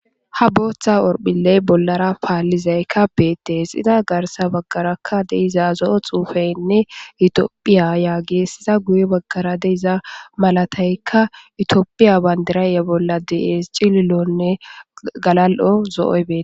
Ha booththa horphiley bollara paallizaykka beettes xida garsa baggarakka deiza zo7o xuufaynne itiophiya yaa geessiza guye baggara deiza malataykka itiophiya bandirayye bolla dees cililonne galal7o zo7oy beet.